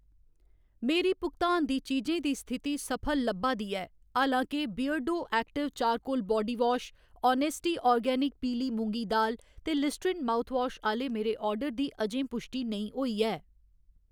मेरी भुगतान दी चीजें दी स्थिति सफल लब्भा दी ऐ, हालां के Beardo active charcoal body wash, honesty organic पीली मुंगी दाल ते लिस्ट्रीन माउथवाश आह्‌‌‌ले मेरे आर्डर दी अजें पुश्टि नेईं होई ऐ।